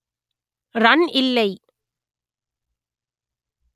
run இல்லை